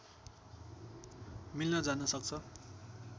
मिल्न जान सक्छ